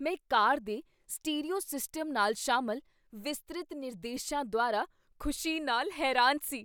ਮੈਂ ਕਾਰ ਦੇ stereo system ਨਾਲ ਸ਼ਾਮਲ ਵਿਸਤ੍ਰਿਤ ਨਿਰਦੇਸ਼ਾਂ ਦੁਆਰਾ ਖੁਸ਼ੀ ਨਾਲ ਹੈਰਾਨ ਸੀ।